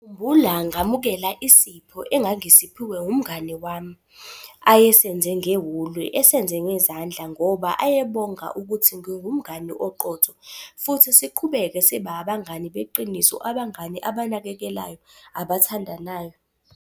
Ngikhumbula ngamukela isipho engangisiphiwe umngani wami, ayesenze ngewuli, esenze ngezandla ngoba ayebonga ukuthi ngingumngani oqotho futhi siqhubeke sibe abangani beqiniso, abangani abanakekelayo, abathandanayo.